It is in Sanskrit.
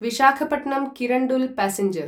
विशाखपत्नं किरण्डुल् प्यासेंजर्